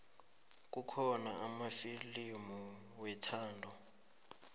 kukhona amafilimu wethando